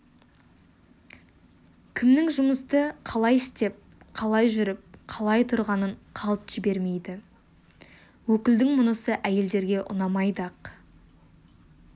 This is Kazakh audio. кімнің жұмысты қалай істеп қалай жүріп қалай тұрғанын қалт жібермейді өкілдің мұнысы әйелдерге ұнамайды-ақ